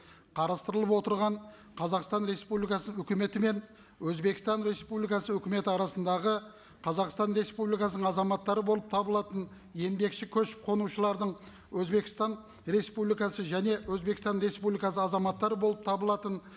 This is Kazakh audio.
қарастырылып отырған қазақстан республикасы өкіметі мен өзбекстан республикасы өкіметі арасындағы қазақстан республикасының азаматтары болып табылатын еңбекші көшіп қонушылардың өзбекстан республикасы және өзбекстан республикасы азаматтары болып табылатын